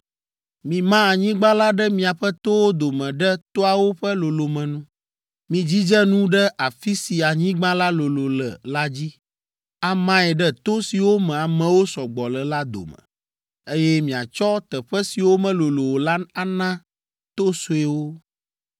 Mima anyigba la ɖe miaƒe towo dome ɖe toawo ƒe lolome nu. Midzidze nu ɖe afi si anyigba la lolo le la dzi, amae ɖe to siwo me amewo sɔ gbɔ le la dome, eye miatsɔ teƒe siwo melolo o la ana to suewo.